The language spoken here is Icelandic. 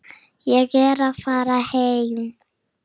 Ég er að fara heim.